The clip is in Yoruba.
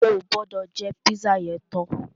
O gbọ́dọ̀ jẹ́ pízà yẹn tán!